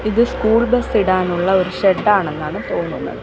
ഇത് school bus ഇടാനുള്ള ഒരു ഷെഡാണെന്നാണ് തോന്നുന്നത്.